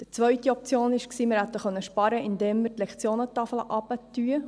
Die zweite Option war, zu sparen, indem wir die Lektionentafel herabsetzen.